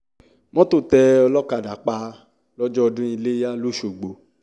mọ́tò tẹ olókàdá pa lọ́jọ́ ọdún iléyà lọ́sgbọ̀